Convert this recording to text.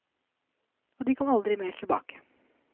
Og de kom aldri mer tilbake.